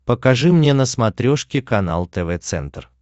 покажи мне на смотрешке канал тв центр